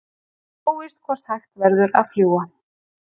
Óvíst hvort hægt verður að fljúga